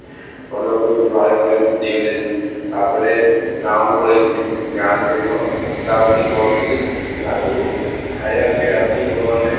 ଘର ଲୋକ ବି ମତେ ବାହାର ଦିଅନ୍ତିନି, ତାପରେ ଗାଁ କୁ ପଳେଇଥିଲି, ଗାଁ ରେ ସେଇଠି କଣ ବୁଲା ବୁଲି କରୁ ଥିଲି ଗାଁ ରେ ସବୁ ଖାଇବା ପିଇବା ରାତି ହବ ମାନେ